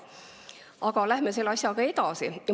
Aga läheme selle asjaga edasi.